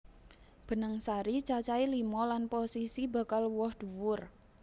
Benang sari cacahé lima lan posisi bakal woh dhuwur